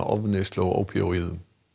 ofneyslu ópíóíða